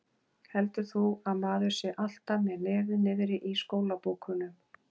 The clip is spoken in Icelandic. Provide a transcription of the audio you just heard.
Heldur þú að maður sé alltaf með nefið niðri í skólabókunum?